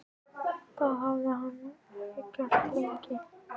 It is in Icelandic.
Það hafði hann ekki gert lengi.